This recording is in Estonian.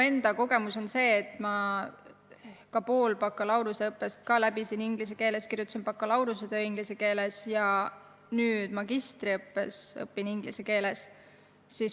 Minu kogemus on see, et ma ka pool bakalaureuseõppest läbisin inglise keeles, kirjutasin bakalaureusetöö inglise keeles ja nüüd magistriõppes õpin inglise keeles.